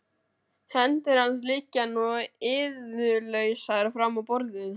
Hendur hans liggja nú iðjulausar fram á borðið.